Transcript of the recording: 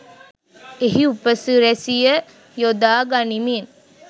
එහි උපසි‍රැසිය යොදා ගනිමින්